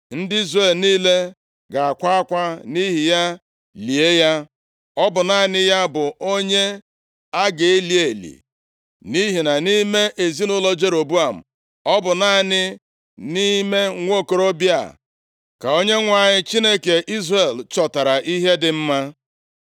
Ndị Izrel niile ga-akwa akwa nʼihi ya lie ya. Ọ bụ naanị ya bụ onye a ga-eli eli, nʼihi na nʼime ezinaụlọ Jeroboam, ọ bụ naanị nʼime nwokorobịa a ka Onyenwe anyị, Chineke Izrel chọtara ihe dị mma.